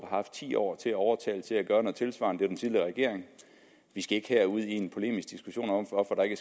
haft ti år til at overtale til at gøre noget tilsvarende det er den tidligere regering vi skal ikke her ud i en polemisk diskussion om hvorfor der ikke